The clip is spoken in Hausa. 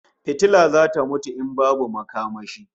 Fitila zata mutu in babu makamashi